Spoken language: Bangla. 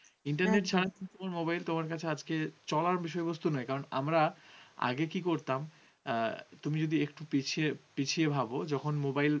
mobile তোমার কাছে আজকে চলার বিষয়বস্তু নয়। কারণ আমরা আগে কী করতাম, তুমি যদি একটু পিছিয়ে পিছিয়ে ভাবো যখন mobile,